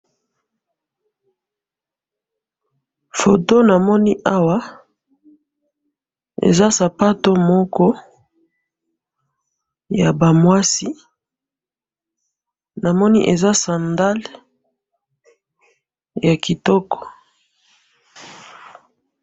Foto namoni awa eza sapato moko yabamwasi, namoni eza scandal yakitoko